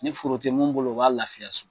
Ni foro tɛ mun bolo o b'a lafiya so.